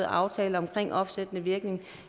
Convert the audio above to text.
aftale om opsættende virkning